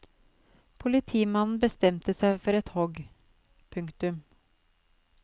Politimannen bestemte seg for et hogg. punktum